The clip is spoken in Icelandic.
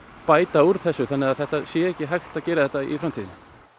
bæta úr þessu þannig að það sé ekki hægt að gera þetta í framtíðinni